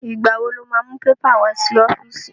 Ìgbà wo lo má mú pépà wá sí ọ́fíìsì?